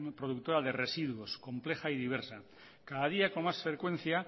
productora de residuos compleja y diversa cada día con más frecuencia